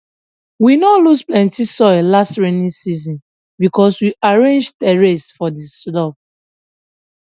we no lose plenty soil last rainy season because we arrange terrace for di slope